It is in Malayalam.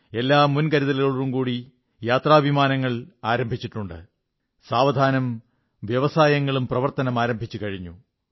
എല്ലാ മുൻകരുതലുകളോടും കൂടി യാത്രാവിമാനങ്ങൾ ആരംഭിച്ചിട്ടുണ്ട് സാവധാനം വ്യവസായങ്ങളും പ്രവർത്തനങ്ങൾ ആരംഭിച്ചുകഴിഞ്ഞു